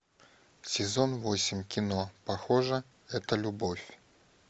сезон восемь кино похоже это любовь